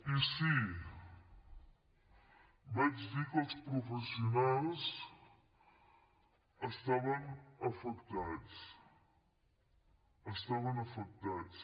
i sí vaig dir que els professionals estaven afectats estaven afectats